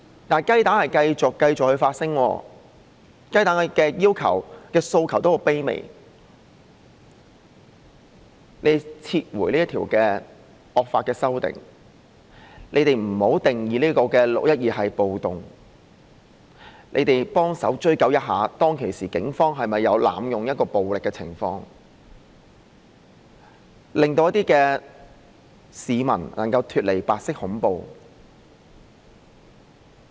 但是，雞蛋仍繼續發聲，而雞蛋的要求或訴求是很卑微的，也就是你們撤回這條惡法；你們不要把"六一二"定義為暴動；你們協助追究當時警方有否濫用暴力，令一些市民能夠脫離白色恐怖。